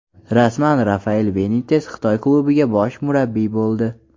Rasman: Rafael Benites Xitoy klubiga bosh murabbiy bo‘ldi.